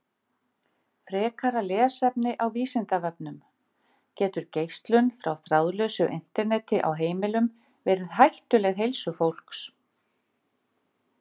Frekara lesefni á Vísindavefnum: Getur geislun frá þráðlausu Interneti á heimilum verið hættuleg heilsu fólks?